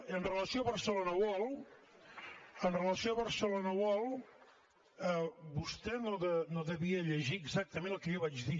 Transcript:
amb relació a barcelona world amb relació a barcelona world vostè no devia llegir exactament el que jo vaig dir